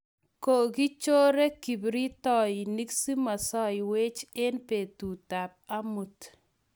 kokichore kipritoinik simosiekwach eng betutab amut